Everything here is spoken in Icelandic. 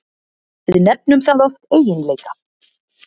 Við nefnum það oft eiginleika.